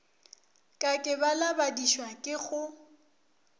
ka ke balabadišwa ke go